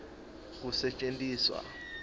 kusetjentiswa